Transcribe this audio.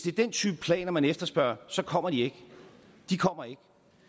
er den type planer man efterspørger så kommer de ikke de kommer ikke